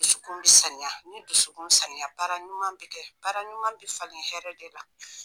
Dusukun bi saniya ni dusukun saniya baara ɲuman be kɛ baara ɲuman bi falen hɛrɛ de la